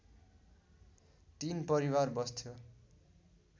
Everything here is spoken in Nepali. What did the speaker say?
तीन परिवार बस्थ्यो